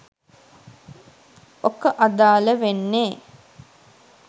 ඔක අදාල වෙන්නෙ